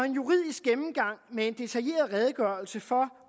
juridisk gennemgang med en detaljeret redegørelse for